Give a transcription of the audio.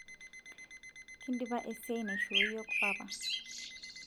kindipa esiai naisho iyiok papa